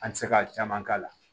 An tɛ se ka caman k'a la